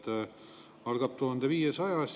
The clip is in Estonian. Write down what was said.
Te ei kuula absoluutselt seda, mida teile räägitakse.